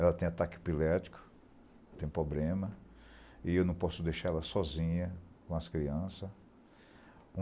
Ela tem ataque pilértico, tem problema, e eu não posso deixar ela sozinha com as crianças.